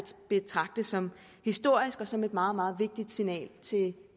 betragte som historisk og som et meget meget vigtigt signal til